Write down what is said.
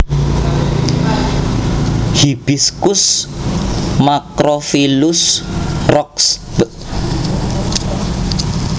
Hibiscus macrophyllus Roxb